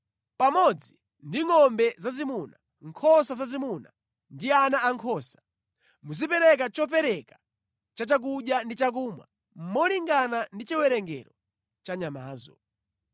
Pamodzi ndi ngʼombe zazimuna, nkhosa zazimuna ndi ana ankhosa, muzipereka chopereka cha chakudya ndi chakumwa molingana ndi chiwerengero cha nyamazo.